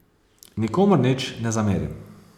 Nikomur nič ne zamerim.